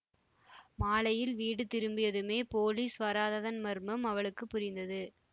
மாலையில் வீடு திரும்பியதுமே போலீஸ் வராததன் மர்மம் அவளுக்கு புரிந்தது